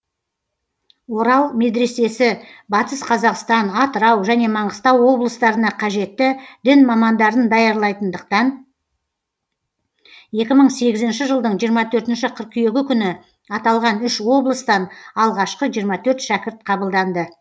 орал медресесі батыс қазақстан атырау және маңғыстау облыстарына қажетті дін мамандарын даярлайтындықтан екі мың сегізінші жылдың жиырма төртінші қыркүйегі күні аталған үш облыстан алғашқы жиырма төрт шәкірт қабылданды